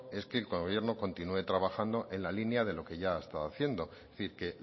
es que el gobierno continúe trabajando en la línea de lo que ya ha estado haciendo es decir que